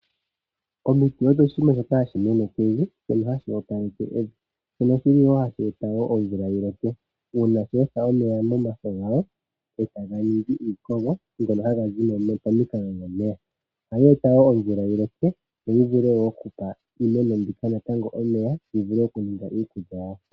Omiti odho oshinima shoka hashi mene pevi, shono hashi opaleke evi. Shono hashi eta wo omvula yi loke, uuna sha etha omeya nomafo gasho e tayi ningi iikogo, ngono haga zi mo nee pomikalo dhomeya. Ohaga eta omvula yi loke yo yi vule wo okupa iimeno mbika natango omeya, yi vule okuninga iikulya yawo.